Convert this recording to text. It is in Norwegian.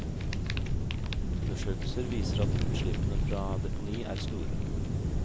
Undersøkelser viser at utslippene fra deponi er store.